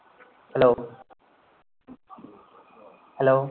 hello hello